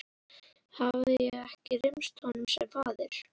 Hafði ég ekki reynst honum sem faðir?